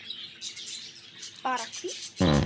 Bara hvísl.